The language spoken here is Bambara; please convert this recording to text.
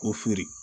O feere